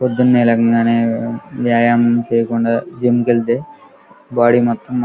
పొద్దునే లేవగానే వ్యాయామం చేయకుండా జిం కి వెళ్తే బాడీ మాత్రం --